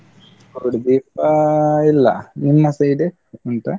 ಗೂಡ್ದೀಪ ಇಲ್ಲಾ, ನಿಮ್ಮ side , ಉಂಟಾ?